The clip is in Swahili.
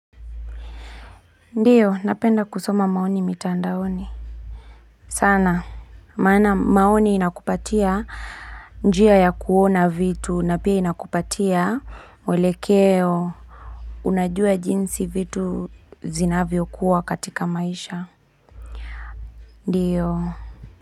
Ndiyo napenda kusoma maoni mitandaoni sana maana maoni inakupatia njia ya kuona vitu na pia inakupatia mwelekeo Unajua jinsi vitu zinavyo kuwa katika maisha Ndiyo.